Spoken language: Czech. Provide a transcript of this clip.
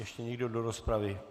Ještě někdo do rozpravy?